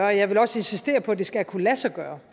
og jeg vil også insistere på at det skal kunne lade sig gøre